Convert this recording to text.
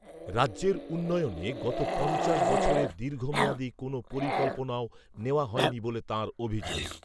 রাজ্যের উন্নয়নে গত পঞ্চাশ বছরে দীর্ঘমেয়াদি কোনও পরিকল্পনাও নেওয়া হয়নি বলে তাঁর অভিযোগ।